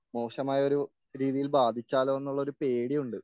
മോശമായ ഒരു രീതിയിൽ ബാധിച്ചാലോ എന്നുള്ളൊരു പേടിയുണ്ട്